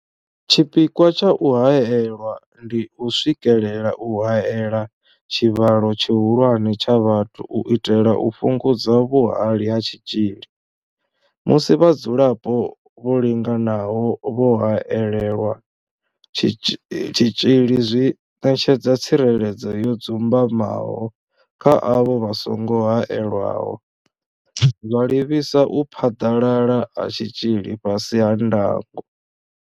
Tshipikwa tsha u haela ndi u swikelela u haela tshivhalo tshihulwane tsha vhathu u itela u fhungudza vhuhali ha tshitzhili musi vhadzulapo vho linganaho vho haelelwa tshitzhili zwi ṋetshedza tsireledzo yo dzumbamaho kha avho vha songo haelwaho, zwa livhisa u phaḓalala ha tshitzhili fhasi ha ndango.